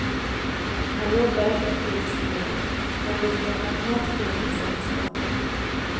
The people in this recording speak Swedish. Han jobbade mycket diskret men likt en magnet drog han till sig skotten.